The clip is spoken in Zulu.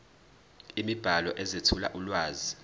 imibhalo ezethula ulwazi